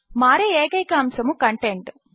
మారే ఏకైన అంశము కంటెంట్